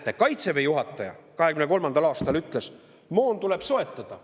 Näete, Kaitseväe juhataja 2023. aastal ütles, et moon tuleb soetada.